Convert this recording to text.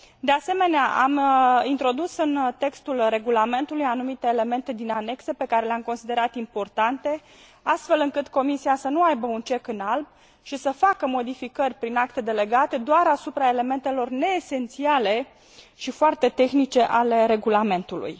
De asemenea, am introdus în textul regulamentului anumite elemente din anexe, pe care le am considerat importante, astfel încât Comisia să nu aibă un cec în alb și să facă modificări prin acte delegate doar asupra elementelor neesențiale și foarte tehnice ale regulamentului.